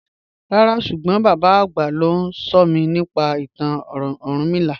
Ràrá súgbọ́n bàbá agbá ló nsọ̀mí nípa ìtàn Orúnmìlà.